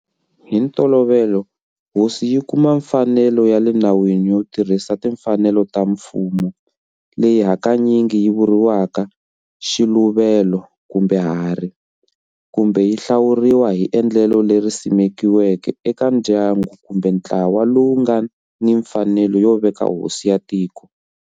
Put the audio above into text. Hi ntolovelo hosi yi kuma mfanelo ya le nawini yo tirhisa timfanelo ta mfumo, leyi hakanyingi yi vuriwaka"xiluvelo" kumbe"harhi", kumbe yi hlawuriwa hi endlelo leri simekiweke eka ndyangu kumbe ntlawa lowu nga ni mfanelo yo veka hosi ya tiko.